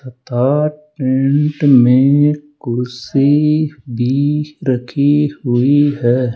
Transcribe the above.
तथा टेंट में कुर्सी भी रखी हुई है।